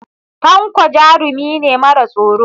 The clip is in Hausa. Tanko jarumi ne mara tsoro.